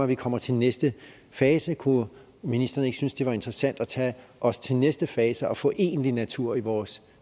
vi kommer til næste fase kunne ministeren ikke synes at det var interessant at tage os til næste fase og få egentlig natur i vores